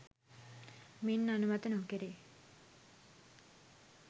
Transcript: මින් අනුමත නොකෙරේ